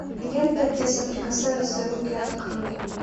лента где соприкасаются руки открой